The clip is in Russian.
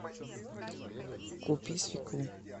купи свеклу